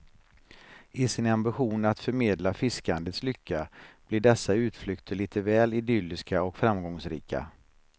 I sin ambition att förmedla fiskandets lycka blir dessa utflykter lite väl idylliska och framgångsrika.